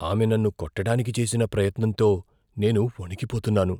ఆమె నన్ను కొట్టడానికి చేసిన ప్రయత్నంతో నేను వణికిపోతున్నాను.